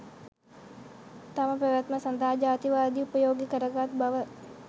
තම පැවැත්ම සඳහා ජාතිවාදය උපයෝගී කරගත් බව